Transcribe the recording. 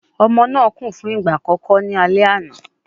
Ọmọ náà kùn fún ìgbà àkọ́kọ́ ní alẹ́ àná